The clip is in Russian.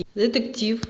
детектив